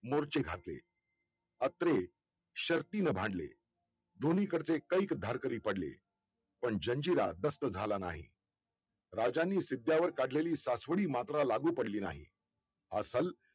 बाळंतव्याधी अंगावर वीज पडल्या सारख्या जिजाबाई सुन्न होऊन स्वतःशीच फुटाफुटल्या. त्यांच्या अचल डोळ्यांसमोर दोन मुद्रा स्तळात होत्या एक पाठीवर मरण टाकून